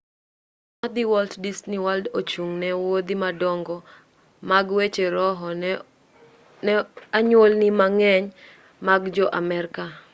wuoth madhi walt disney world ochung' ne wuodhi madongo mag weche roho ne anyuolni mang'eny mag jo-amerka